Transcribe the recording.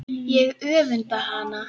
Ég öfunda hana.